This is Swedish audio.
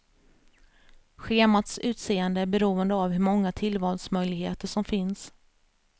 Schemats utseende är beroende av hur många tillvalsmöjligheter som finns.